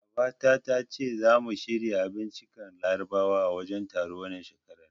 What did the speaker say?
Baba ta tace zamu shirya abinciccikan larabawa a wajen taron, wannan shekarar.